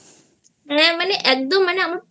হ্যাঁ মানে একদম মানে